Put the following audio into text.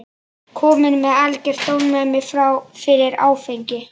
Kominn með algert ofnæmi fyrir áfengi.